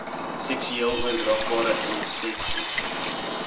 seksueel oordraagbare inseksies